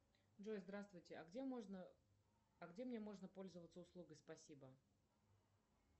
джой здравствуйте а где можно а где мне можно пользоваться услугой спасибо